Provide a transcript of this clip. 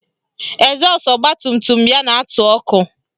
Ezọsụ ọgbatumtum ya na-atụ ọkụ